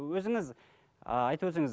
өзіңіз айтып өтсеңіз